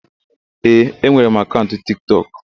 Ee, enwere m akaụnt Tiktọk.